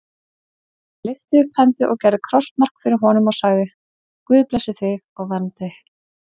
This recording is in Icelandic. Hann lyfti upp hendi og gerði krossmark fyrir honum og sagði:-Guð blessi þig og verndi.